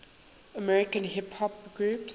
american hip hop groups